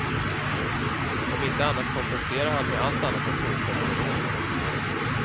Om inte annat kompenserar han med allt annat än tråkiga monologer.